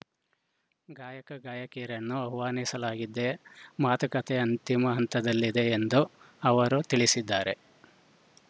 ಗಾಯಕಗಾಯಕಿಯರನ್ನೂ ಆಹ್ವಾನಿಸಲಾಗಿದ್ದೆ ಮಾತುಕತೆ ಅಂತಿಮ ಹಂತದಲ್ಲಿದೆ ಎಂದು ಅವರು ತಿಳಿಸಿದ್ದಾರೆ